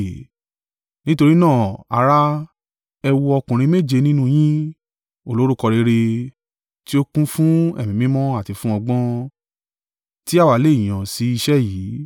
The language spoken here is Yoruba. Nítorí náà, ará, ẹ wo ọkùnrin méje nínú yín, olórúkọ rere, tí ó kún fún Ẹ̀mí Mímọ́ àti fún ọgbọ́n, tí àwa lè yàn sí iṣẹ́ yìí.